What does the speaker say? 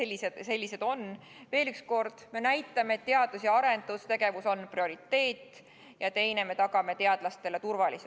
Veel kord: me näitame, et teadus- ja arendustegevus on prioriteet, ja teiseks, me tagame teadlastele turvalisuse.